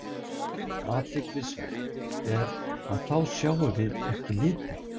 Athyglisvert er að þá sjáum við ekki liti.